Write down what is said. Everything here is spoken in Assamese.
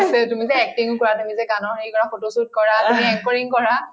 তুমি যে acting কৰা তুমি যে গানৰ হেৰি কৰা photo shoot কৰা তুমি anchoringকৰা